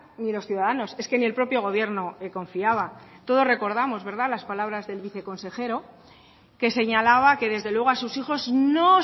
ni los ciudadanos es que ni el propio gobierno confiaba todos recordamos verdad las palabras del viceconsejero que señalaba que desde luego a sus hijos no